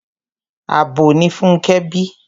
Abo ni Fúnkẹ́ bí.